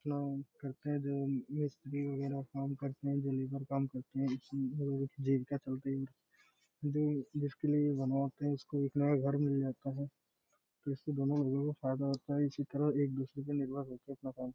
चुनाई करते है | जो मिस्त्री बघेरा का काम करते है | जो लेवर काम करती है | जो इससे जीविका चलती है और जो जिसके लिए बनाते जो उसके लिए एक नया घर मिल जाता है तो इससे दोनों घरों को फायदा होता है | इसी तरह एक दूसरे पर निर्भर हो अपना काम करते है|